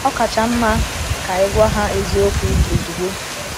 Ọ kacha mma ka ị gwa ha eziokwu ozugbo.